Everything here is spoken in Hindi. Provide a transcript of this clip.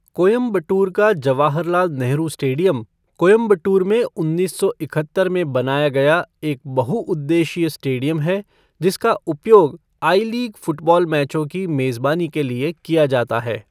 कोयंबटूर का जवाहरलाल नेहरू स्टेडियम, कोयंबटूर में उन्नीस सो इकहत्तर में बनाया गया एक बहुउद्देशीय स्टेडियम है जिसका उपयोग आई लीग फ़ुटबॉल मैचों की मेज़बानी के लिए किया जाता है।